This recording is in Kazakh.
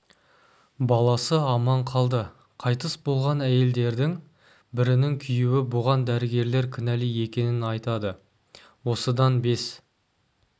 баласы аман қалды қайтыс болған әйелдердің бірінің күйеуі бұған дәрігерлер кінәлі екенін айтады осыдан бес